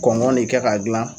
Kɔngɔn ne kɛ ka gilan